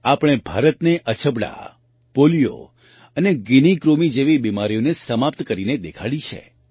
આપણે ભારતને અછબડા પોલિયો અને ગિની કૃમિ જેવી બીમારીઓને સમાપ્ત કરીને દેખાડી છે